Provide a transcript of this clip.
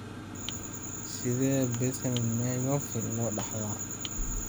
Sidee baa Bethlem myopathy loo dhaxlaa?